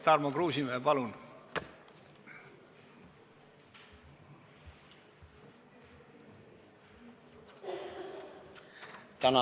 Tarmo Kruusimäe, palun!